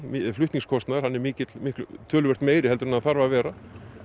flutningskostnaður er mikill töluvert meiri en hann þarf að vera